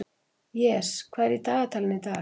Jes, hvað er í dagatalinu í dag?